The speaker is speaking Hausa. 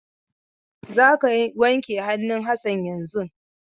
Za ka wanke hannun Hassan yanzun!